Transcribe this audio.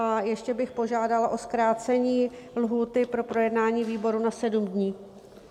A ještě bych požádala o zkrácení lhůty pro projednání výboru na sedm dní.